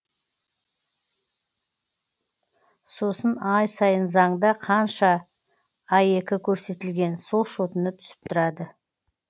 сосын ай сайын заңда қанша аек көрсетілген сол шотына түсіп тұрады